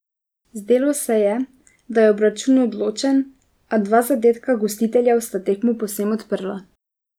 Zdelo se je, da je obračun odločen, a dva zadetka gostiteljev sta tekmo povsem odprla.